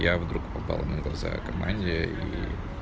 я вдруг попал на глаза команде и